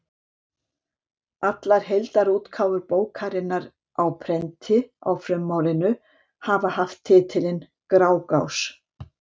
Allar heildarútgáfur bókarinnar á prenti á frummálinu hafa haft titilinn Grágás.